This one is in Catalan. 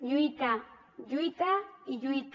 lluita lluita i lluita